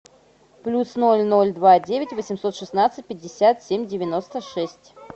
плюс ноль ноль два девять восемьсот шестнадцать пятьдесят семь девяносто шесть